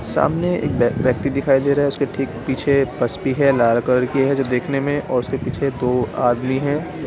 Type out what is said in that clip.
सामने एक व्यक्ति दिखाई दे रहा है। उसके ठीक पीछे बस भी है। लाल कलर की है जो देखने में उसके पीछे दो आदमी है।